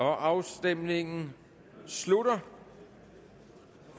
afstemningen slutter